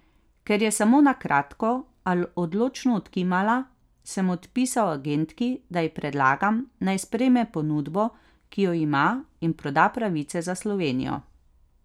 Ker je samo na kratko, a odločno odkimala, sem odpisal agentki, da ji predlagam, naj sprejme ponudbo, ki jo ima, in proda pravice za Slovenijo.